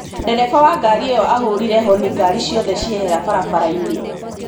Dereba wa ngari ĩyo ahũrire honi ngari ciothe ciehera barabara-ini.